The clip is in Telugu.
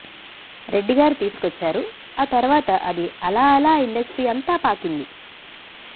రెడ్డి గారు తీసుకొచ్చారు ఆ తర్వాత అది అలా అలా ఇండస్ట్రీ అంతా పాకింది